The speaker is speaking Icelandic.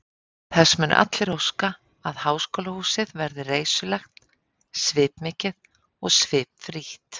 Þess munu allir óska, að háskólahúsið verði reisulegt, svipmikið og svipfrítt.